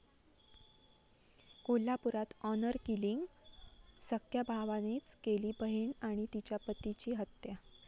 कोल्हापुरात honour killing?, सख्ख्या भावानेच केली बहिण आणि तिच्या पतीची हत्या